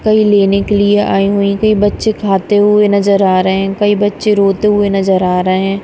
कई लेने के लिए आई हुई। कई बच्चे खाते हुए नजर आ रहे हैं। कई बच्चे रोते हुए नजर आ रहे हैं।